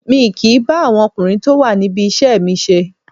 Mi kìí bá àwọn ọkùnrin tó wà níbi iṣẹ́ mi ṣe